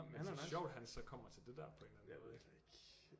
Men altså sjovt han så kommer til det der på en eller anden måde